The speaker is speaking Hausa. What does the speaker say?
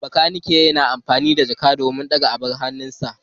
Bakaniken yana amfani da jack don ɗaga abin hawansa.